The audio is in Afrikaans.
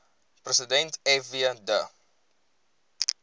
president fw de